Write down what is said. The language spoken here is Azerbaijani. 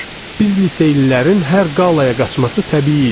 Biz liseylilərin hər qalaya qaçması təbii idi.